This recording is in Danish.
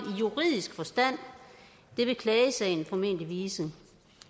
i juridisk forstand det vil klagesagen formentlig vise